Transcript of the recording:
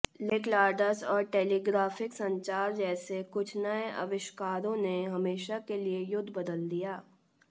लोहेक्लाड्स और टेलीग्राफिक संचार जैसे कुछ नए आविष्कारों ने हमेशा के लिए युद्ध बदल दिया